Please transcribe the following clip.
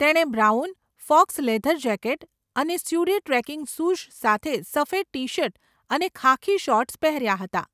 તેણે brown, faux leather jacket અને suede trekking shoes સાથે સફેદ ટી શર્ટ અને ખાખી શોર્ટ્સ પહેર્યા હતા.